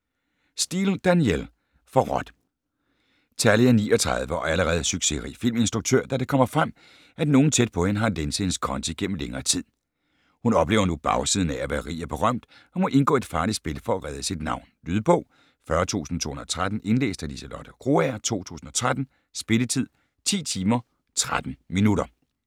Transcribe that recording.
Steel, Danielle: Forrådt Tallie er 39 og allerede succesrig filminstruktør, da det kommer frem, at nogen tæt på hende har lænset hendes konti gennem længere tid. Hun oplever nu bagsiden af at være rig og berømt, og må indgå i et farligt spil for at redde sit navn. Lydbog 40213 Indlæst af Liselotte Krogager, 2013. Spilletid: 10 timer, 13 minutter.